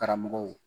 Karamɔgɔw